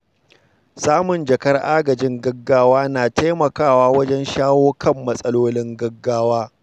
Samun jakar agajin gaggawa na taimakawa wajen shawo kan matsalolin gaggawa.